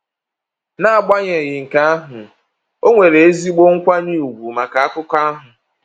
N’agbanyeghị nke ahụ, o nwere ezigbo nkwanye ùgwù maka Akụkọ ahụ.